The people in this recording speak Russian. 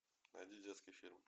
найди детский фильм